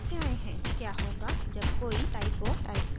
क्या होगा जब कोई typo types करेगा